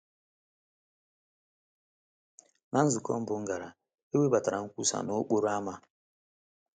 Na nzukọ mbụ m gara, e webatara nkwusa n’okporo ámá.